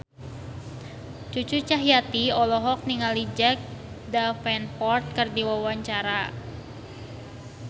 Cucu Cahyati olohok ningali Jack Davenport keur diwawancara